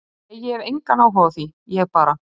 Nei ég hef engann áhuga á því, ég bara.